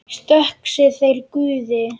Þökk sé þér, Guði!